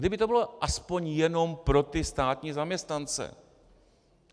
Kdyby to bylo aspoň jenom pro ty státní zaměstnance.